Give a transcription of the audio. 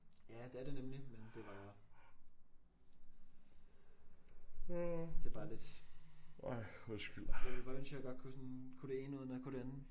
Ja det er det nemlig. Men det var det er bare lidt jeg ville bare ønske jeg godt kunne sådan kunne det ene uden at kunne det andet